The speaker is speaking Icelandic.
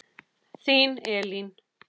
Þín Elín.